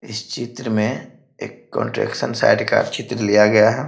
इस चित्र में एक कंट्रक्शन साइड का चित्र लिया गया है।